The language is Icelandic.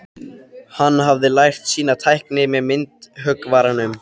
Hann hafði lært sína tækni hjá myndhöggvaranum